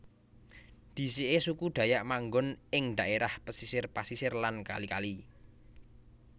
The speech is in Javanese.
Dhisike suku Dayak manggon ing dhaerah pesisir pasisir lan kali kali